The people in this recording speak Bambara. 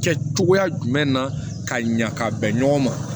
Kɛ cogoya jumɛn na ka ɲa ka bɛn ɲɔgɔn ma